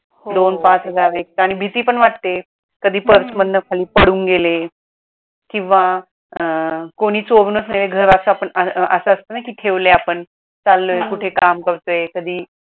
दोन पाच हजार एक तर आणि भीती पण वाटते कधी pierce मधन खाली पडून गेले किंवा अं कोणी चोरुनच नेले घराच पण अस असत ना कि ठेवले आपण चाललोय कुठे काम करतोय कधी